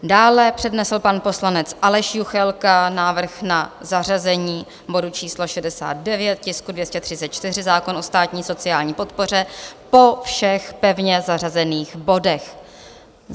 Dále přednesl pan poslanec Aleš Juchelka návrh na zařazení bodu číslo 69, tisku 234, zákon o státní sociální podpoře po všech pevně zařazených bodech.